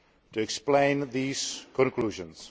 to explain these conclusions.